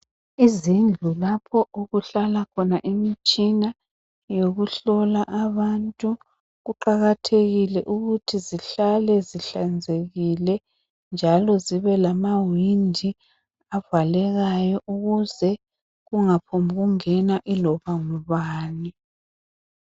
Izindlu lapho okuhlala khona imitshina yokuhlola abantu kuqakathekile ukuthi zihlale zihlanzekile njalo zibe lamawindi avalekayo ukuze kungaphombu kungena iloba ngubani .